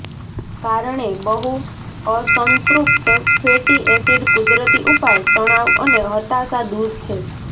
કારણે બહુઅસંતૃપ્ત fatty acid કુદરતી ઉપાય તણાવ અને હતાશા દૂર છે